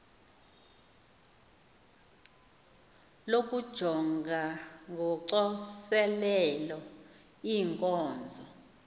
lokujonga ngocoselelo iinkonzo